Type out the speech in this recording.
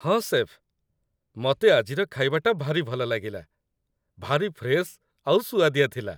ହଁ, ଶେଫ୍, ମତେ ଆଜିର ଖାଇବାଟା ଭାରି ଭଲଲାଗିଲା । ଭାରି ଫ୍ରେଶ୍ ଆଉ ସୁଆଦିଆ ଥିଲା ।